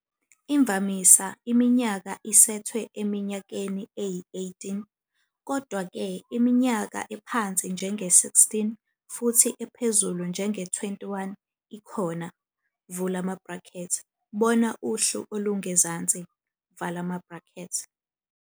Imvamisa, iminyaka isethwe eminyakeni eyi-18, kodwa-ke, iminyaka ephansi njenge-16 futhi ephezulu njenge-21 ikhona, bona uhlu olungezansi.